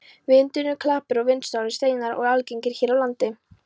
Vindnúnar klappir og vindsorfnir steinar eru algengir hér á landi.